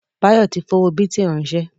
Báyọ̀ tí fi owó bìtì ránsẹ́